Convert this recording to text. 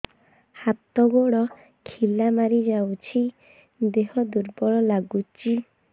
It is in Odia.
ହାତ ଗୋଡ ଖିଲା ମାରିଯାଉଛି ଦେହ ଦୁର୍ବଳ ଲାଗୁଚି